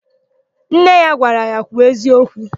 Nne ya gwara ya, "kwuo eziokwu"!